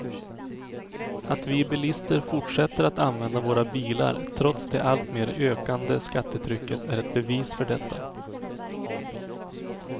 Att vi bilister fortsätter att använda våra bilar trots det alltmer ökande skattetrycket är ett bevis för detta.